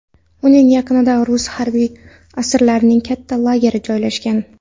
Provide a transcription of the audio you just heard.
Uning yaqinda rus harbiy asirlarining katta lageri joylashgan.